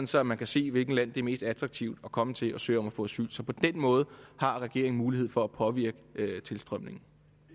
så man kan se hvilket land det er mest attraktivt at komme til og søge om at få asyl så på den måde har regeringen mulighed for at påvirke tilstrømningen